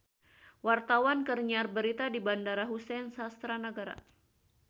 Wartawan keur nyiar berita di Bandara Husein Sastra Negara